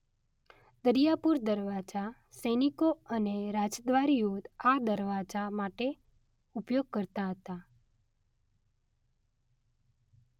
દરિયાપુર દરવાજા - સૈનિકો અને રાજદ્વારીઓ આ દરવાજા માટે ઉપયોગ કરતા હતા.